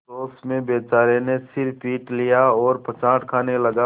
अफसोस में बेचारे ने सिर पीट लिया और पछाड़ खाने लगा